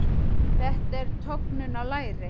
Þetta er tognun á læri.